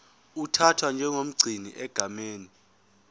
uthathwa njengomgcini egameni